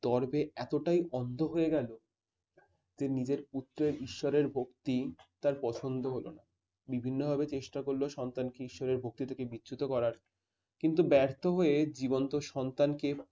দর্ভে এতটাই অন্ধ হয়ে গেল যে নিজের পুত্রের ঈশ্বরের ভক্তি তার পছন্দ হলো না। বিভিন্নভাবে চেষ্টা করলে সন্তানকে ঈশ্বরের ভক্তি থেকে বিচ্যুত করার। কিন্তু ব্যর্থ হয়ে জীবন্ত সন্তানকে